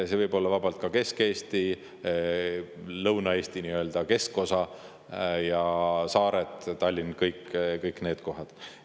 See võib olla vabalt ka Kesk-Eesti, Lõuna-Eesti nii-öelda keskosa ja saared, ka Tallinn – kõik need kohad.